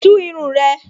Tún irun rẹ!